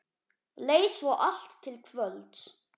Leið svo allt til kvölds.